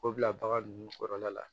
O bila bagan nunnu kɔrɔla la